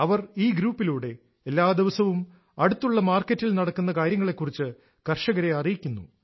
അവർ ഈ ഗ്രൂപ്പിലൂടെ എല്ലാ ദിവസവും അടുത്തുള്ള മാർക്കറ്റിൽ നടക്കുന്ന കാര്യങ്ങളെക്കുറിച്ച് കർഷകരെ അറിയിക്കുന്നു